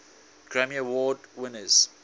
grammy award winners